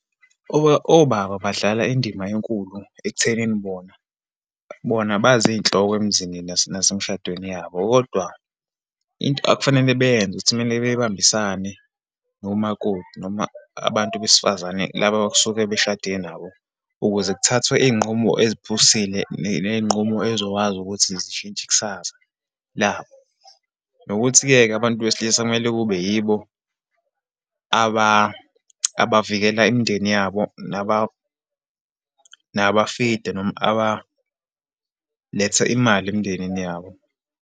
Obaba badlala indima enkulu ekuthenini bona, bona bazinhloko emzini nasemshadweni yabo. Kodwa, into ekufanele beyenze ukuthi kumele bebambisane nomakoti, noma abantu besifazane laba okusuke beshade nabo, ukuze kuthathwe izinqumo eziphusile, neyinqumo ezokwazi ukuthi zishintshe ikusasa, labo. Nokuthi-ke ke, abantu besilisa kumele kube yibo abavikela imindeni yabo, naba-feed-e, noma abaletha imali emindenini yabo.